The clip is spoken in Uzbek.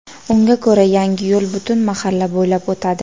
Unga ko‘ra, yangi yo‘l butun mahalla bo‘ylab o‘tadi.